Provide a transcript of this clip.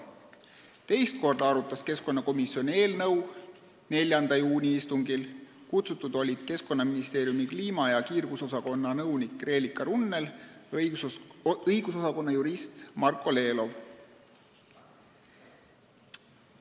Teist korda arutas keskkonnakomisjon eelnõu 4. juuni istungil, kuhu olid kutsutud Keskkonnaministeeriumi kliima- ja kiirgusosakonna nõunik Reelika Runnel ja õigusosakonna jurist Marko Lelov.